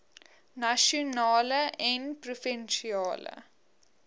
nasionale en provinsiale